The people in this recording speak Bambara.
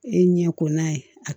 E ɲɛ ko n'a ye a